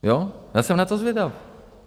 Já jsem na to zvědav.